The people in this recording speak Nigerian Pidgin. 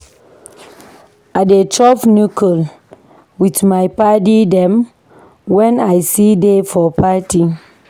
I dey chop knuckle with my paddy dem wen I see dey for party.